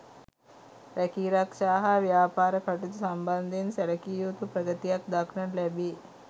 රැකීරක්ෂා හා ව්‍යාපාර කටයුතු සම්බන්ධයෙන් සැලකිය යුතු ප්‍රගතියක් දක්නට ලැබේ.